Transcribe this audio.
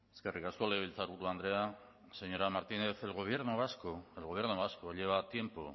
eskerrik asko legebiltzarburu andrea señora martínez el gobierno vasco el gobierno vasco lleva tiempo